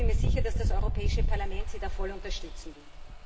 Ich bin mir sicher, dass das Europäische Parlament sie da voll unterstützen wird.